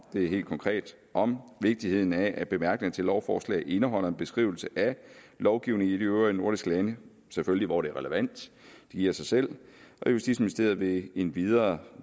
det er helt konkret om vigtigheden af at bemærkninger til lovforslag indeholder en beskrivelse af lovgivning i de øvrige nordiske lande selvfølgelig hvor det er relevant det giver sig selv og justitsministeriet vil endvidere